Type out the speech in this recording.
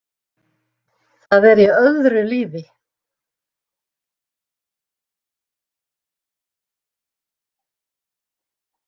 Það er í öðru lífi.